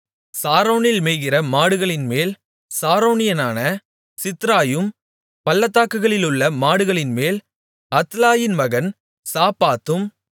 சாரோனில் மேய்கிற மாடுகளின்மேல் சாரோனியனான சித்ராயும் பள்ளத்தாக்குகளிலுள்ள மாடுகளின்மேல் அத்லாயின் மகன் சாப்பாத்தும்